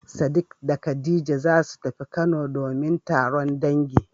Sadik da khadija zasu tafi kano domin taron dangi.